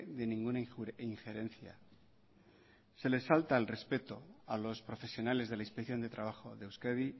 de ninguna injerencia se les falta al respeto a los profesionales de la inspección de trabajo de euskadi